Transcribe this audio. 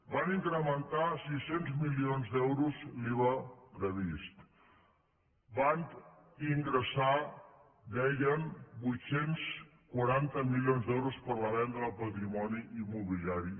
van incrementar sis cents milions d’euros l’iva previst van ingressar deien vuit cents i quaranta milions d’euros per la venda del patrimoni immobiliari